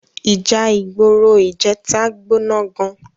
Íjà igbóró ijètá gbóná gán